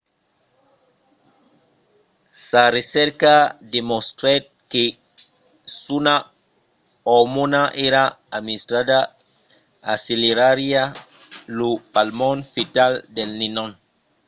sa recerca demostrèt que s'una ormòna èra administrada accelerariá lo palmon fetal del nenon